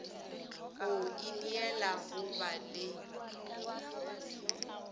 go ineela go ba le